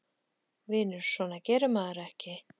Vinur, svona gerir maður ekki!